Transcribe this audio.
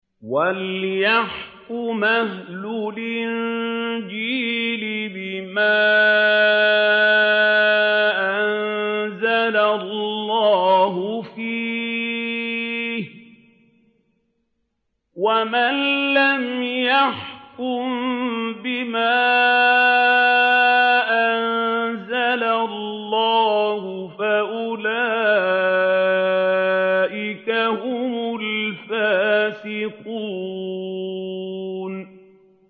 وَلْيَحْكُمْ أَهْلُ الْإِنجِيلِ بِمَا أَنزَلَ اللَّهُ فِيهِ ۚ وَمَن لَّمْ يَحْكُم بِمَا أَنزَلَ اللَّهُ فَأُولَٰئِكَ هُمُ الْفَاسِقُونَ